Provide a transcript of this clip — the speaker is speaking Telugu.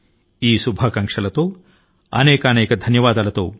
ఈ శుభకామనల తో మీకు అందరికి అనేకానేక ధన్యవాదములు